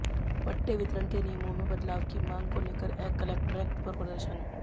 पट्टे वितरण के नियमों में बदलाव की मांग को लेकर कलक्ट्रेट पर प्रदर्शन